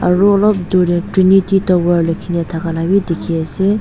aro olop dur te trinity tower likhi na thaka la bi dikhi ase.